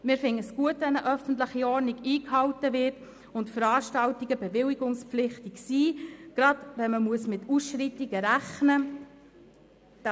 Wir finden es gut, wenn die öffentliche Ordnung eingehalten wird und Veranstaltungen bewilligungspflichtig sind, gerade wenn man mit Ausschreitungen rechnen muss.